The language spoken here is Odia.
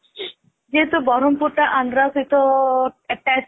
ଯେହେତୁ ବରମପୁର ଟା ଆନ୍ଦ୍ରା ସହିତ attach